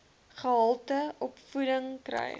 gehalte opvoeding kry